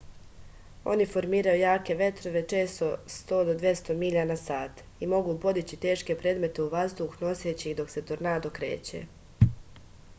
они формирају јаке ветрове често 100-200 миља/сат и могу подићи тешке предмете у ваздух носећи их док се торнадо креће